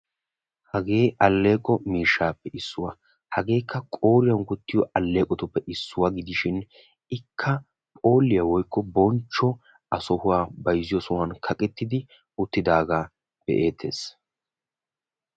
Hagee aleeqo miishshappe issuwa. Hagee qooriyan wottiyo alleeqo miishshappe issoy issi sohuwan kaqqettidaaga be'ettees.